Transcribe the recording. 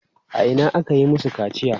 A ina aka yi masu kaciya?